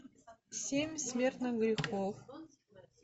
семь смертных грехов